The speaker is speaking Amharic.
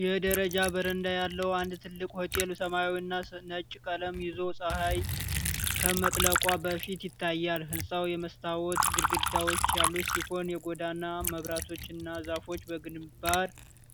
የደረጃ በረንዳ ያለው አንድ ትልቅ ሆቴል ሰማያዊና ነጭ ቀለም ይዞ ፀሐይ ከመጥለቋ በፊት ይታያል። ሕንፃው የመስታወት ግድግዳዎች ያሉት ሲሆን የጎዳና መብራቶችና ዛፎች በግንባር